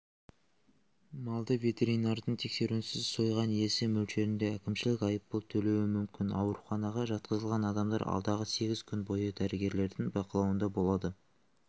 малды ветеринардың тексеруінсіз сойған иесі мөлшерінде әкімшілік айыппұл төлеуі мүмкін ауруханаға жатқызылған адамдар алдағы сегіз күн бойы дәрігерлердің бақылауында болады